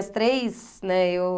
As três, né? Eu